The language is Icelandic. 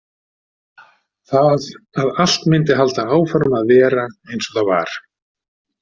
Það að allt myndi halda áfram að vera eins og það var.